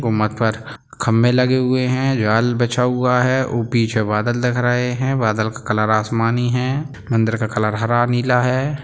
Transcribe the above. गुमतपर खंबे लगे हुए है जाल बिछा हुआ है पीछे बादल दिख रहे है बादल का कलर आसमानी है अंदर का कलर हरा नीला है।